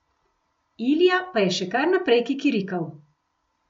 Ilija pa je še kar naprej kikirikal.